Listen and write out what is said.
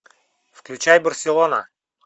включай барселона